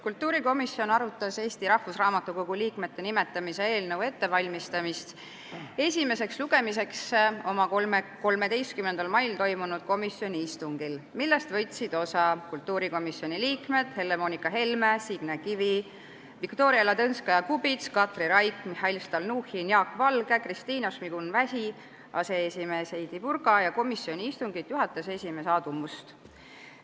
Kultuurikomisjon arutas Eesti Rahvusraamatukogu liikmete nimetamise eelnõu ettevalmistamist esimeseks lugemiseks oma 13. mai istungil, millest võtsid osa komisjoni liikmed Helle-Moonika Helme, Signe Kivi, Viktoria Ladõnskaja-Kubits, Katri Raik, Mihhail Stalnuhhin, Jaak Valge, Kristina Šmigun-Vähi, aseesimees Heidy Purga ja istungit juhatanud komisjoni esimees Aadu Must.